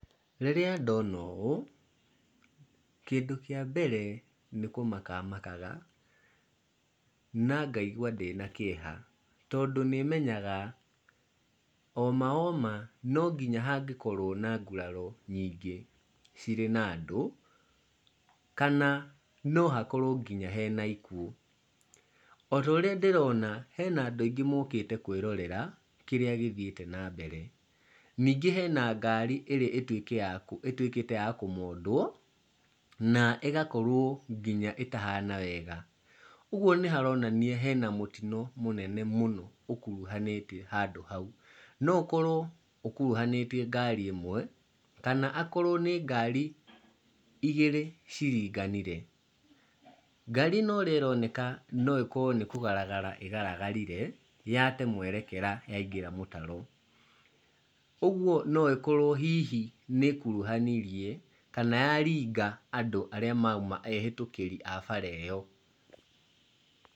Rĩrĩa ndona ũ, kĩndũ kĩa mbere nĩkũmaka makaga na ngaigua ndĩna kĩeha, tondũ nĩmenyaga oma oma nonginya hangĩkorwo na nguraro nyingĩ cirĩ na andũ, kana nohakorwo nginya hena ikuũ. O taorĩa ndĩrona, hena andũ aingĩ mokĩte kwĩrorera kĩrĩa gĩthiĩte na mbere. Ningĩ hena ngari ĩrĩa ĩtuĩkĩte ya kũmondwo na ĩgakorwo nginya ĩtahana wega. Ũguo nĩharonania hena mũtino mũnene mũno ũkuruhanĩte handũ hau. No ũkorwo ũkuruhanĩtie ngari ĩmwe kana akorwo nĩ ngari igĩrĩ iringanire. Ngari ino ũrĩa ĩroneka no ĩkorwo nĩ kũgaragara ĩgaragarire yate mwerekera yaingĩra mũtaro. Ũguo noĩkorwo hihi nĩ ĩkuruhanirie kana yaringa andũ arĩa mauma ehĩtũkĩri a bara ĩyo.